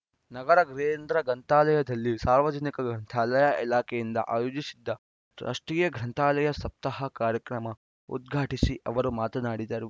ನಗರ ಕೇಂದ್ರ ಗ್ರಂಥಾಲಯದಲ್ಲಿ ಸಾರ್ವಜನಿಕ ಗ್ರಂಥಾಲಯ ಇಲಾಖೆಯಿಂದ ಆಯೋಜಿಸಿದ್ದ ರಾಷ್ಟ್ರೀಯ ಗ್ರಂಥಾಲಯ ಸಪ್ತಾಹ ಕಾರ್ಯಕ್ರಮ ಉದ್ಘಾಟಿಸಿ ಅವರು ಮಾತನಾಡಿದರು